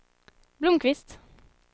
Blomqvist